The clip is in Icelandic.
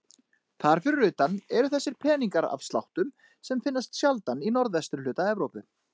Þar fyrir utan eru þessir peningar af sláttum sem finnast sjaldan í norðvesturhluta Evrópu.